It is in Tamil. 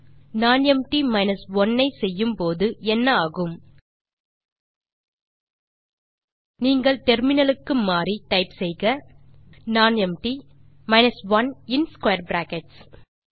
nonempty 1 ஐ செய்யும் போது என்ன ஆகும் நீங்கள் டெர்மினல் க்கு மாறி டைப் செய்யலாம் நானெம்ப்டி 1 ஸ்க்வேர் bracketகளில்